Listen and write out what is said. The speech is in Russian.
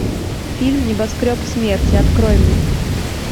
фильм небоскреб смерти открой мне